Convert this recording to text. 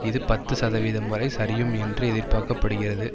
இது பத்து சதவீதம் வரை சரியும் என்று எதிர்பார்க்க படுகிறது